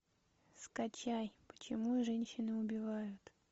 скачай почему женщины убивают